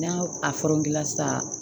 N'a sa